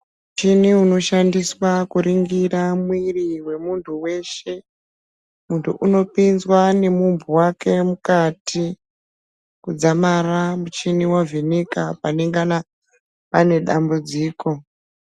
Chini unoshandiswa kuringira mwiri wemuntu weshe munyu unopinzwa nemumpu wake mukati kudzamara muchibi wavheneka panengana pane dambudziko.